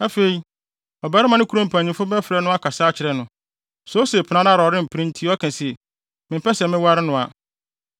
Afei, ɔbarima no kurom mpanyimfo bɛfrɛ no akasa akyerɛ no. Sɛ ose pene ara na ɔrempene nti ɔka se, “Mempɛ sɛ meware no a,”